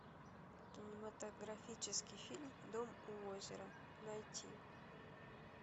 кинематографический фильм дом у озера найти